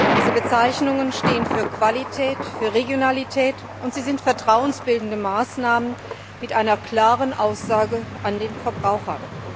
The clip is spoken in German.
Diese Bezeichnungen stehen für Qualität, für Regionalität, und sie sind vertrauensbildende Maßnahmen mit einer klaren Aussage an den Verbraucher.